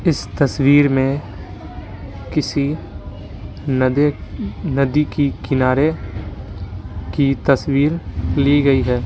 इस तस्वीर में किसी नदी नदी की किनारे की तस्वीर ली गई हैं।